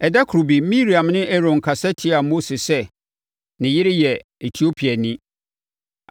Ɛda koro bi Miriam ne Aaron kasa tiaa Mose sɛ ne yere yɛ Etiopiani.